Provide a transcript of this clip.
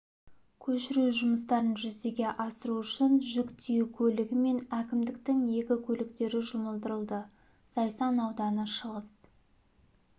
көшіру жұмыстарын жүзеге асыру үшін жүк тиеу көлігі мен әкімдіктің екі көліктері жұмылдырылды зайсан ауданы шығыс